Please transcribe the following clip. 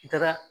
I taara